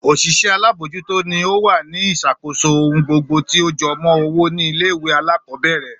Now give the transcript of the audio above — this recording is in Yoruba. Òṣìṣẹ́ alábòójútó ni ó wà ní ìṣàkóso ohun gbogbo tí ó jọmọ́ owó ní ilé ìwé alákọ̀ọ́bẹ̀rẹ̀